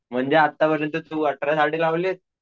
म्हणजे आत्तापर्यंत तू अठरा झाडे लावलीस.